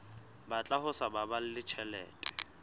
batla ho sa baballe tjhelete